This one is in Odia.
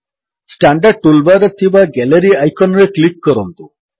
ଷ୍ଟାଣ୍ଡାର୍ଡ ଟୁଲ୍ ବାର୍ ରେ ଥିବା ଗାଲେରୀ ଆଇକନ୍ ରେ କ୍ଲିକ୍ କରନ୍ତୁ